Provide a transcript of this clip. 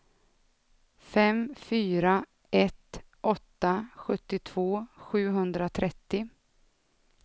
fem fyra ett åtta sjuttiotvå sjuhundratrettio